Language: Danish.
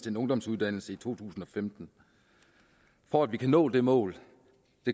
en ungdomsuddannelse i to tusind og femten for at vi kan nå det mål